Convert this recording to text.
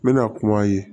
N bɛna kuma a ye